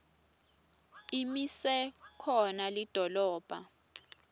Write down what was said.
imise khona lidolobha